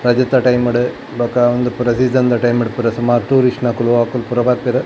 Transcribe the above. ರಜೆತ time ಡು ಬೊಕ ಉಂದು ಪೂರ ಸೀಸನ್ ದ ಟೈಮ್ ಡು ಪುರ ಸುಮಾರ್ ಟೂರಿಸ್ಟ್ ನಕುಲು ಅಕುಲು ಪೂರ ಬರ್ಪೆರ್.